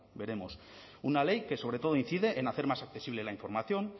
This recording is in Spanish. veremos una ley que sobre todo incide en hacer más accesible la información